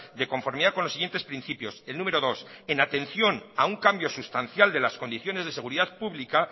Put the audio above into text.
de conformidad con los siguientes principios el número dos en atención a un cambio sustancial de las condiciones de seguridad pública